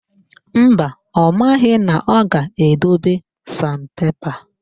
Mba, ọ maghị na ọ ga-edobe San pepa